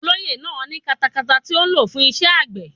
Olóyè náà ní katakata tí ó ń lò fún iṣẹ́ àgbẹ̀.